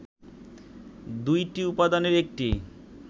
দুইটি উপাদানের একটি